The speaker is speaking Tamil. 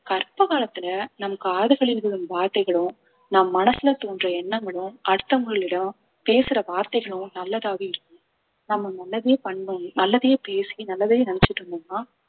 கர்ப்ப காலத்துல நம் காதுகளில் விழும் வார்த்தைகளும் நம் மனசுல தோன்ற எண்ணங்களும் அடுத்தவங்களிடம் பேசுற வார்த்தைகளும் நல்லதாவே இருக்~ நம்ம நல்லதே பண்ணோம் நல்லதையே பேசி நல்லதையே நினைச்சுட்டு இருந்தோம்ன்னா